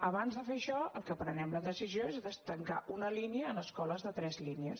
abans de fer això el que prenem la decisió és de tancar una línia en escoles de tres línies